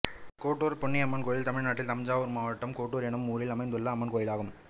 கோட்டூர் பொன்னியம்மன் கோயில் தமிழ்நாட்டில் தஞ்சாவூர் மாவட்டம் கோட்டூர் என்னும் ஊரில் அமைந்துள்ள அம்மன் கோயிலாகும்